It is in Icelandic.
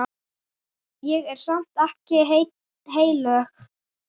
Ég er samt ekkert heilög.